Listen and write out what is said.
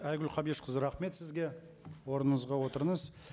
айгүл қабдешқызы рахмет сізге орныңызға отырыңыз